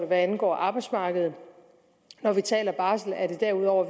hvad angår arbejdsmarkedet når vi taler om barsel er det derudover